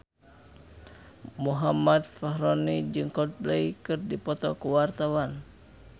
Muhammad Fachroni jeung Coldplay keur dipoto ku wartawan